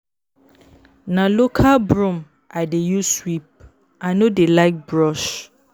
Na local broom I dey use sweep, I no dey like brush.